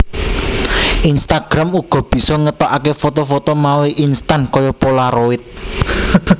Instagram uga bisa ngetokake foto foto mawi instan kaya polaroid